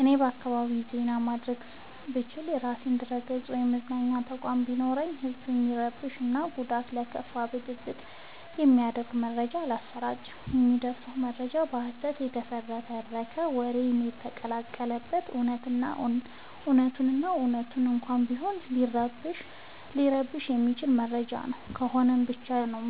እኔ በአካባቢዬ ዜና ማድረስ ብችል። የራሴ ድረገፅ ወይም መገናኛ ተቋም ቢኖረኝ ህዝብን የሚረብሹ እና ለጉዳት እና ለከፋ ብጥብ የሚዳርግ መረጃ አላሰራጭም። የማደርሰው መረጃ በሀሰት የተፈበረከ ወሬ ሳይቀላቀል በት እውነቱን እና እውነት እንኳን ቢሆን ሊረብሸው የማይችል መረጃ ነው ከሆነ ብቻ ነው